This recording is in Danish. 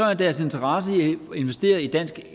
er deres interesse i at investere i dansk